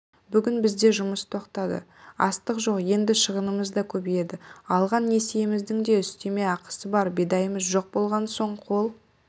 бүгін бізде жұмыс тоқтады астық жоқ енді шығынымыз да көбейеді алған несиеміздің де үстеме ақысы бар бидайымыз жоқ болған соң қол